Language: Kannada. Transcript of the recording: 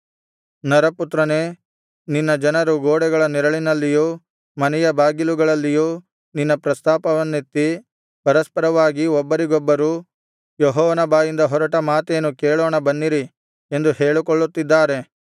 ನರಪುತ್ರನೇ ನಿನ್ನ ಜನರು ಗೋಡೆಗಳ ನೆರಳಿನಲ್ಲಿಯೂ ಮನೆಯ ಬಾಗಿಲುಗಳಲ್ಲಿಯೂ ನಿನ್ನ ಪ್ರಸ್ತಾಪವನ್ನೆತ್ತಿ ಪರಸ್ಪರವಾಗಿ ಒಬ್ಬರಿಗೊಬ್ಬರು ಯೆಹೋವನ ಬಾಯಿಂದ ಹೊರಟ ಮಾತೇನು ಕೇಳೋಣ ಬನ್ನಿರಿ ಎಂದು ಹೇಳಿಕೊಳ್ಳುತ್ತಿದ್ದಾರೆ